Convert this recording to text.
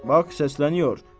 Bax səsləniyor.